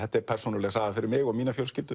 þetta er persónuleg saga fyrir mig og mína fjölskyldu